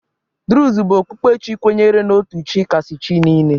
Druze bụ okpukpe Chi kwenyere n'otu Chi kasị Chi niile.